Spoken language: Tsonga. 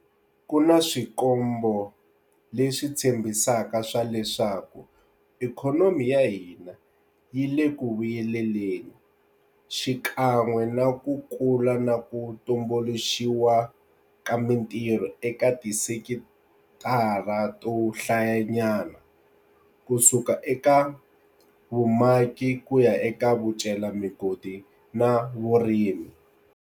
Ku na swikombo leswi tshembisaka swa leswaku ikhonomi ya hina yi le ku vuyeleleni, xikan'we na ku kula na ku tumbuluxiwa ka mitirho eka tisekitara to hlayanyana, kusuka eka vumaki ku ya eka vucelamigodi na vurimi.